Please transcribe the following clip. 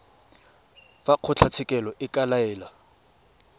fa kgotlatshekelo e ka laela